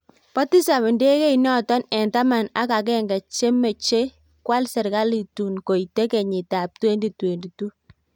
Pa tisaap ndegeit nootok eng' taman ak agenge chemechee kwaal serkaliit tuun koitee kenyiit ap 2022